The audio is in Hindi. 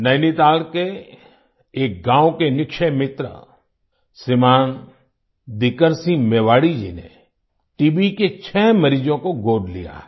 नैनीताल के एक गांव के निक्षय मित्र श्रीमान दीकर सिंह मेवाड़ी जी ने टीबीके छह मरीजों को गोद लिया है